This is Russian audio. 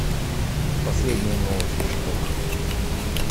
последние новости украина